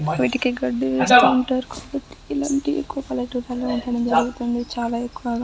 వీటికి గడ్డి ఇస్తూ ఉంటారు. కాబట్టి ఇలాంటి గృహాల్లో దొరుకుతాయి చాలా ఎక్కువగా --